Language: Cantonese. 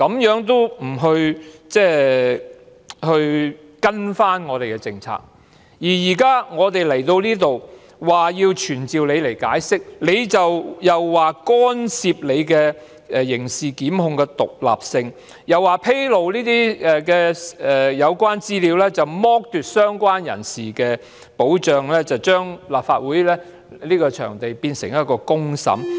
現時來到立法會，我們提出要傳召她以聽取她的解釋，她又說我們干涉其刑事檢控的獨立性，又說披露有關資料會剝奪相關人士的保障，把立法會變為公審場地。